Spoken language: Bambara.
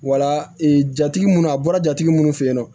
Wala ee jatigi minnu a bɔra jatigi minnu fɛ yen nɔ